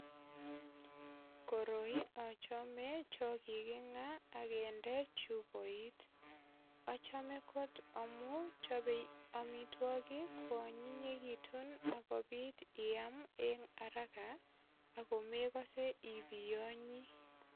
Koroi achame chokikinga ak kinde chupoit. Achome kot amu chopei amitwogik kwonyinyekitu ak kopit iam en araka ago megose ibiyonyi.